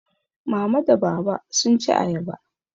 Mama da Baba sun ci ayaba.